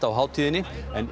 á hátíðinni en